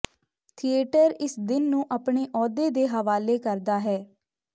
theatre ਇਸ ਦਿਨ ਨੂੰ ਆਪਣੇ ਅਹੁਦੇ ਦੇ ਹਵਾਲੇ ਕਰਦਾ ਹੈ